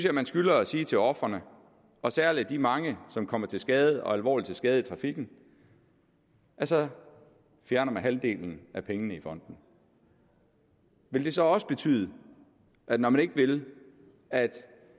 at man skylder at sige til ofrene og særlig de mange som kommer til skade og alvorligt til skade i trafikken at så fjerner man halvdelen af pengene i fonden vil det så også betyde når man ikke vil at